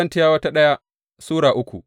daya Korintiyawa Sura uku